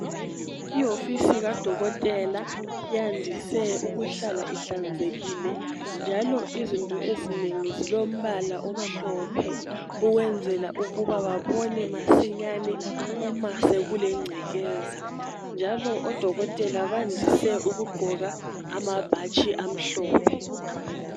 Ihofisi kadokotela yandise ukuhlala ihlanzekile, njalo izinto ezinengi zilombala omhlophe ukwenzela ukuba babone masinyane uma sekulengcekeza, njalo odokotela bandise ukugqoka amabhatshi amhlophe.